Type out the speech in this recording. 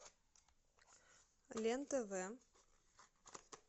лен тв